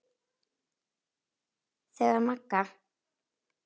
Þegar Magga